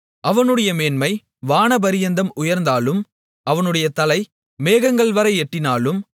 அவனுடைய மேன்மை வானபரியந்தம் உயர்ந்தாலும் அவனுடைய தலை மேகங்கள்வரை எட்டினாலும்